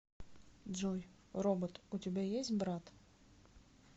джой робот у тебя есть брат